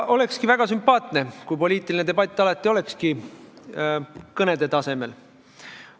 Olekski väga sümpaatne, kui poliitiline debatt oleks alati kõnede tasemel.